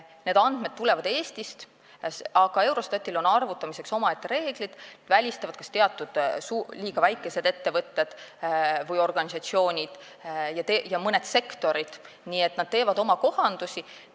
Need andmed tulevad Eestist, aga Eurostatil on arvutamiseks omaette reeglid, need välistavad liiga väikesed ettevõtted või organisatsioonid ja mõned sektorid, nii et nad teevad oma kohandusi.